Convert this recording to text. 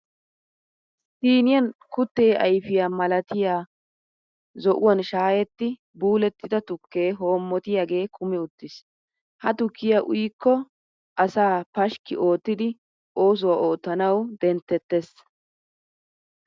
Siiniyan kuttee ayifiya malatiya zo'uwan shaayetti buulettida tukke hoommotiyagee kumi uttis. Ha tukkiya uyikko asaa pashkki oottidi oosuwa oottanawu denttettes.